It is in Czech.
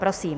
Prosím.